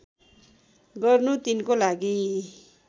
गर्नु तिनको लागि